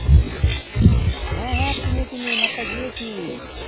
হ্যাঁ হ্যাঁ চিনি চিনি মাঠ তা গিয়েছি